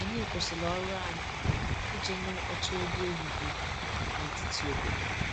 Anyị kwụsịrị ọrụ anyị iji nụ ụtọ egwu ehihie na etiti obodo